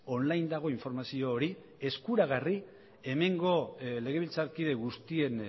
online dago informazio hori eskuragarri hemengo legebiltzarkide guztien